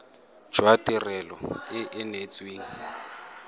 jwa tirelo e e neetsweng